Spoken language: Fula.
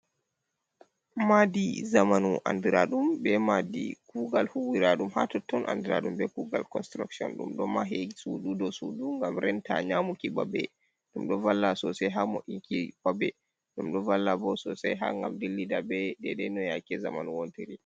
Madi zamanu, andiraɗum be madi kugal, huwira ɗum ha totton, andira ɗum be kugal konsturokshon, ɗum ɗo mahi, suudu, ɗo suudu gam renta nyamuki babbe, ɗum ɗo valla sosai ha wo inki babbe, ɗum ɗo valla bo sosai ha ngam dillida be daidai no yake zamanu wontiri.